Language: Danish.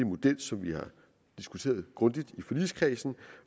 model som vi har diskuteret grundigt i forligskredsen